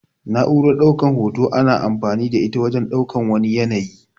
Na'uran ɗaukan hoto ana amfani da ita wajen ɗaukan wani yanayi.